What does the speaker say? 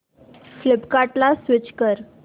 फ्लिपकार्टं ला स्विच कर